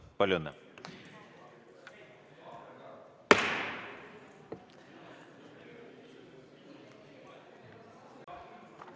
Palju õnne!